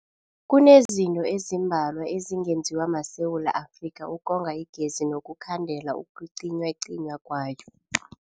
Kunezinto ezimbalwa ezingenziwa maSewula Afrika ukonga igezi nokukhandela ukucinywacinywa kwayo.